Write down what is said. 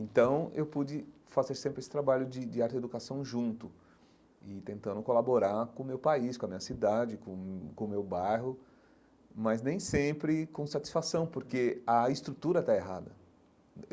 Então eu pude fazer sempre esse trabalho de de arte e educação junto e tentando colaborar com o meu país, com a minha cidade, com com o meu bairro, mas nem sempre com satisfação, porque a estrutura está errada.